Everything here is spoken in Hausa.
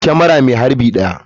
Kamara mai harbi 1.